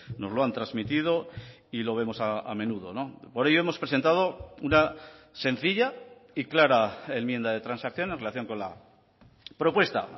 nos lo han transmitido y lo vemos a menudo por ello hemos presentado una sencilla y clara enmienda de transacción en relación con la propuesta